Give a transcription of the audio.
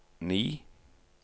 ni